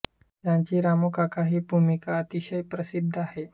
त्यांची रामू काका हि भूमिका अतिशय प्रसिद्ध आहे